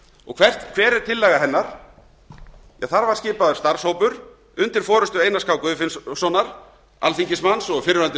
og hver er tillaga hennar þar var skipaður starfshópur undir forustu einars k guðfinnssonar alþingismanns og fyrrverandi